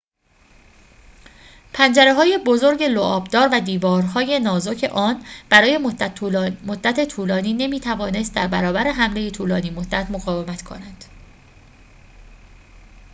پنجره‌های بزرگ لعاب‌دار و دیوارهای نازک آن برای مدت طولانی نمی‌توانست در برابر حمله طولانی‌مدت مقاومت کند